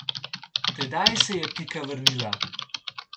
Tedaj se je Pika vrnila.